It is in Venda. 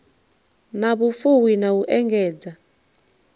na vhufuwi na u engedza